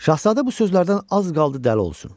Şahzadə bu sözlərdən az qaldı dəli olsun.